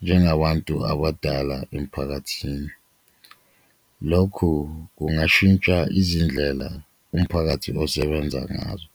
njengabantu abadala emphakathini. Lokhu kungashintsha izindlela umphakathi osebenza ngazo